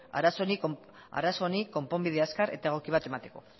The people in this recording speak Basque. arazo honi konponbide azkar eta egoki bat emateko